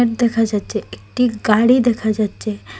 দেখা যাচ্ছে একটি গাড়ি দেখা যাচ্ছে।